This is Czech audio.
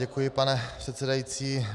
Děkuji, pane předsedající.